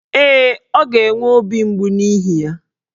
Ee, ọ ga-enwe obi mgbu n'ihi ya.